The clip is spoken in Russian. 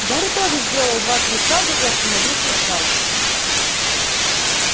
гарри тоже сделал два-три шага и остановился сзади